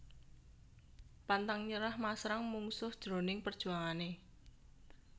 Pantang nyerah masrang mungsuh jroning perjuangané